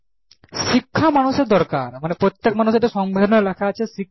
শিক্ষা মানুষ এর দরকার প্রত্যেক মানুষ এর সংবিধান লেখা আছে